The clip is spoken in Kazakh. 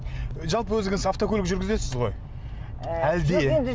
жалпы өзіңіз автокөлік жүргізесіз ғой